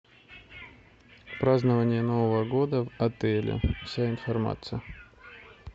празднование нового года в отеле вся информация